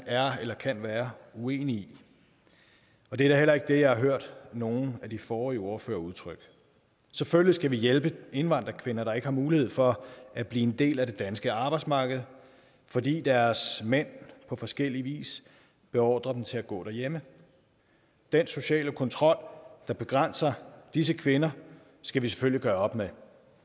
er eller kan være uenig i og det er heller ikke det jeg har hørt nogen af de forrige ordførere udtrykke selvfølgelig skal vi hjælpe indvandrerkvinder der ikke har mulighed for at blive en del af det danske arbejdsmarked fordi deres mænd på forskellig vis beordrer dem til at gå derhjemme den sociale kontrol der begrænser disse kvinder skal vi selvfølgelig gøre op med